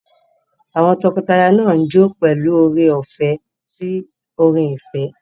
Àwọn tọkọtaya náà ń jó pẹ̀lú oore-ọ̀fẹ́ sí orin ìfẹ́.